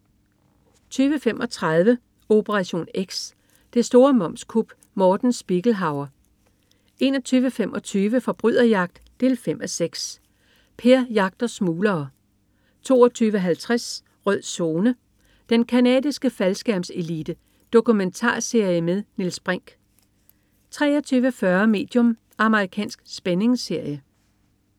20.35 Operation X. Det store momskup. Morten Spiegelhauer 21.25 Forbryderjagt 5:6. Per jagter smuglere 22.50 Rød Zone: Den canadiske faldskærmselite. Dokumentarserie med Niels Brinch 23.40 Medium. Amerikansk spændingsserie